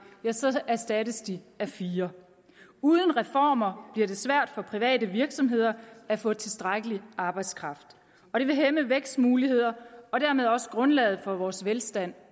erstattes de af fire uden reformer bliver det svært for private virksomheder at få tilstrækkelig arbejdskraft og det vil hæmme vækstmulighederne og dermed også grundlaget for vores velstand